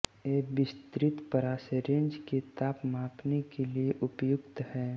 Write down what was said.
ये विस्तृत परास रेंज के ताप मापने के लिये उपयुक्त हैं